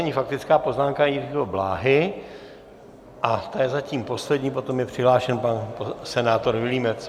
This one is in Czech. Nyní faktická poznámka Jiřího Bláhy a ta je zatím poslední, potom je přihlášen pan senátor Vilímec.